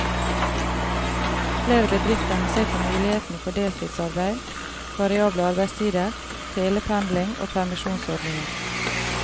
Flere bedrifter må se på mulighetene for deltidsarbeid, variable arbeidstider, telependling og permisjonsordninger.